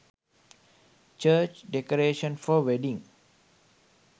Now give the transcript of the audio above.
church decoration for wedding